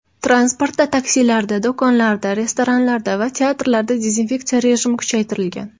Transportda, taksilarda, do‘konlarda, restoranlarda va teatrlarda dezinfeksiya rejimi kuchaytirilgan.